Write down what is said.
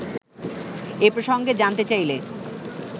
এ প্রসঙ্গে জানতে চাইলে